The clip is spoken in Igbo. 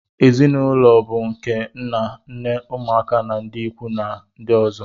ezi na ụlọ bụ nke nna nne ụmụ na ndị ikwu ndị ọzọ